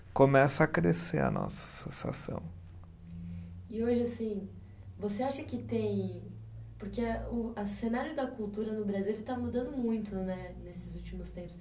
Começa a crescer a nossa associação. E hoje assim, você acha que tem, porque a o a cenário da cultura no Brasil ele está mudando muito, né, nesses últimos tempos.